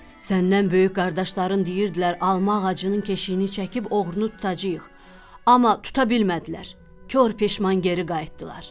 Səndən böyük qardaşların deyirdilər alma ağacının keşiyini çəkib oğrunu tutacağıq, amma tuta bilmədilər, kor peşman geri qayıtdılar.